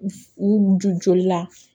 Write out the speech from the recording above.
U jɔ joli la